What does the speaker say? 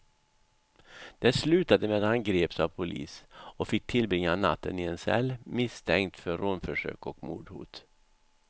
Det slutade med att han greps av polis och fick tillbringa natten i en cell, misstänkt för rånförsök och mordhot.